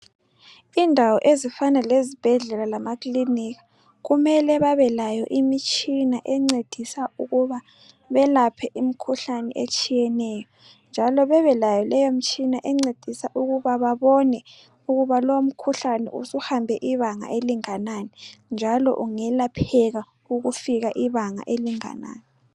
Indawo ezifana lezibhedlela lamakilinika, kumele babe layo imitshina encedisa ukuba belaphe imkhuhlane etshiyeneyo njalo bebe layo mtshina encedisa ukuba babone ukuba lowo mkhuhlane ukuhambe ibanga elinganani njalo ungelapheka ukufikaibanga elinganani.